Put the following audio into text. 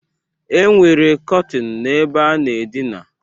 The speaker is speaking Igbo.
E nwere kọtin n'ebe a na-adịna.